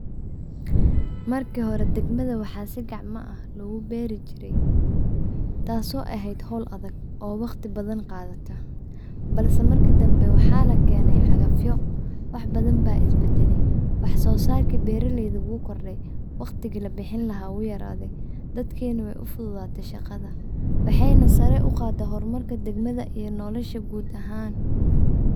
Markii hore deegmada waxa si gacma ah loogu beeri jiray taaso eheyd howl adag oo waqti badan qaadate balse markii dambe waxa lakeene cagafyo wax badan ba isbadale, wax soo sarki beeraladu wuu kordhe, waqtigi labixin lahaa wuu yaraade, dadki na way ufududaate shaqada waxay na sarey u qaade horumarka deegma iyo nolosha guud ahan